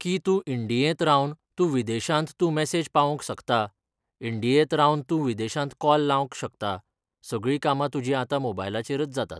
की तूं इंडियेंत रावन तूं विदेशांत तूं मॅसेज पावोवंक शकता, इंडियेंत रावन तूं विदेशांत कॉल लावंक शकता सगळीं कामां तुजीं आतां मोबायलाचेरच जातात